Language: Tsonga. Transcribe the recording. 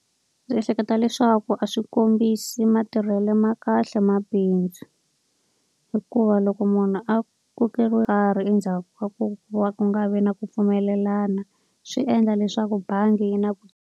Ndzi ehleketa leswaku a swi kombisi matirhelo ma kahle mabindzu. Hikuva loko munhu a kokeriwe karhi endzhaku ka ku va ku nga vi na ku pfumelelana, swi endla leswaku bangi yi na ku.